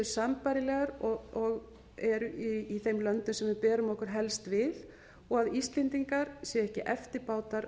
sambærilegar og eru í þeim löndum sem við berum okkur helst við og að íslendingar séu ekki eftirbátar